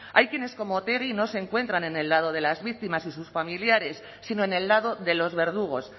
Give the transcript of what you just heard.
hay quienes como otegi no se encuentran en el lado de las víctimas y sus familiares sino en el lado de los verdugos